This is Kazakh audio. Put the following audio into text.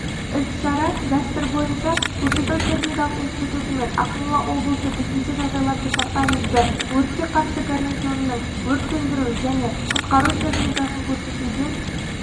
іс-шара дәстүр бойынша көкшетау техникалық институты мен ақмола облысы төтенше жағдайлар департаменті өртке қарсы гарнизонының өрт сөндіру және құтқару техникасын көрсетуден